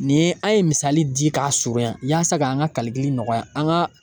Nin ye an ye misali di k'a surunya yasa ka an ka nɔgɔya an ka